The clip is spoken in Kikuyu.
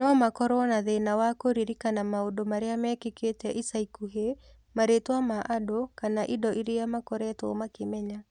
No makorũo na thĩĩna wa kũririkana maũndũ marĩa mekĩkĩte ica ikuhĩ, marĩtwa ma andũ kana indo iria makoretwo makĩmenya.